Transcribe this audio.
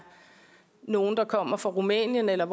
nogle der kommer fra rumænien eller